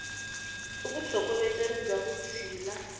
i vutlhokovetseri bya vutshila